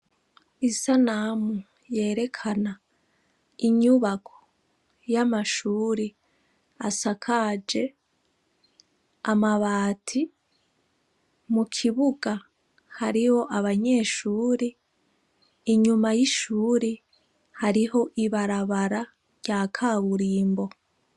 Isanamu yerekana inyubako y'amashure asakaje amabati. Mu kibuga hariho abanyeshure, inyuma y'ishure hariho ibarabara rya kaburimbo.